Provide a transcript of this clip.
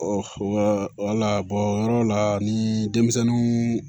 wala o yɔrɔ la ni denmisɛnninw